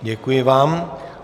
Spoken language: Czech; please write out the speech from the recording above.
Děkuji vám.